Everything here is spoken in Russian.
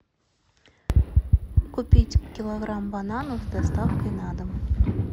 купить килограмм бананов с доставкой на дом